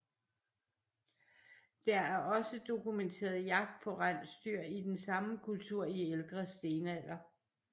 Der er også dokumenteret jagt på rensdyr i den samme kultur i ældre stenalder